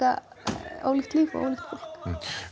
ólíkt líf og ólíkt fólk